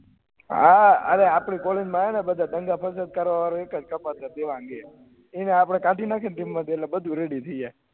હા અરે આપળી કોલેજ મા આયને તો બધા કરવા વાળુ એક જેવા એના આપળે કાળી નાખ્યે ન team મા થી એટલે બધું ready થઇ જાય